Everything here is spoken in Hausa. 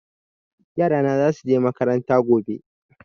Yara na za su je makaranta gobe.